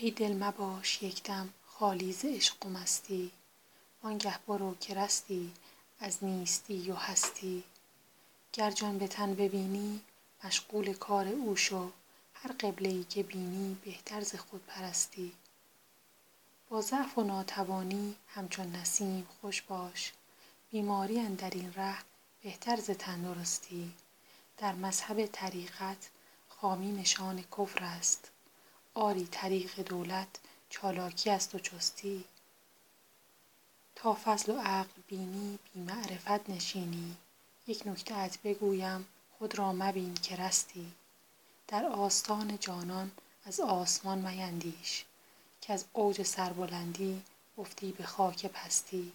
ای دل مباش یک دم خالی ز عشق و مستی وان گه برو که رستی از نیستی و هستی گر جان به تن ببینی مشغول کار او شو هر قبله ای که بینی بهتر ز خودپرستی با ضعف و ناتوانی همچون نسیم خوش باش بیماری اندر این ره بهتر ز تندرستی در مذهب طریقت خامی نشان کفر است آری طریق دولت چالاکی است و چستی تا فضل و عقل بینی بی معرفت نشینی یک نکته ات بگویم خود را مبین که رستی در آستان جانان از آسمان میندیش کز اوج سربلندی افتی به خاک پستی